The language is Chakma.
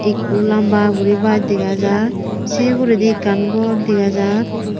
ekkho lamba guri bas dega jar sey uguredi ekkan gor dega jar.